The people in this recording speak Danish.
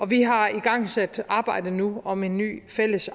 vi har igangsat arbejdet nu om en ny fælles